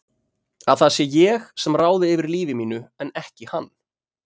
Að það sé ég sem ráði yfir lífi mínu en ekki hann.